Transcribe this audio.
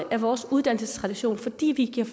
af vores uddannelsestradition fordi vi giver